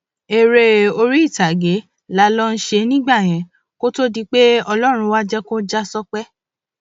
eré orí ìtàgé la lọò ṣe nígbà yẹn kó tóó di pé ọlọrun wàá jẹ kó já sópẹ